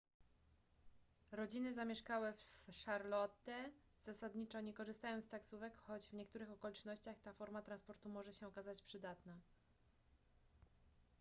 rodziny zamieszkałe w charlotte zasadniczo nie korzystają z taksówek choć w niektórych okolicznościach ta forma transportu może się okazać przydatna